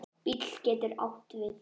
BÍL getur átt við